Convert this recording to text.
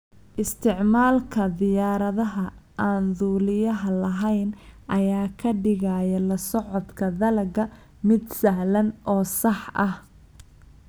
Isticmaalka diyaaradaha aan duuliyaha lahayn ayaa ka dhigaya la socodka dalagga mid sahlan oo sax ah.